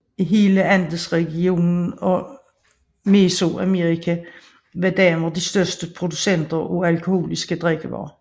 I hele Andesregionen og Mesoamerika var kvinder de største producenter af alkoholiske drikkevarer